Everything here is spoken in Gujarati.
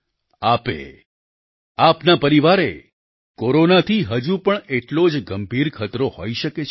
આપે આપના પરિવારે કોરોનાથી હજુ પણ એટલો જ ગંભીર ખતરો હોઈ શકે છે